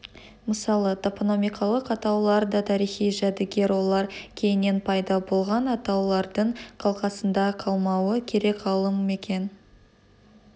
мысалы топонимикалық атаулар да тарихи жәдігер олар кейіннен пайда болған атаулардың қалқасында қалмауы керек ғалым мекен